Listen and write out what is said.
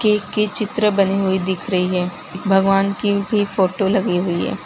Cake के चित्र बनी हुई दिख रही है भगवान की फोटो लगी हुई है।